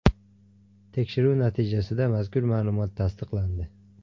Tekshiruv natijasida mazkur ma’lumot tasdiqlandi.